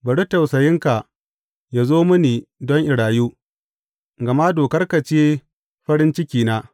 Bari tausayinka yă zo mini don in rayu, gama dokarka ce farin cikina.